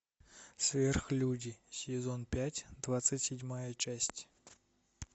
сверхлюди сезон пять двадцать седьмая часть